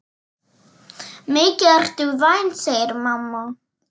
Mikið ertu vænn, segir mamma.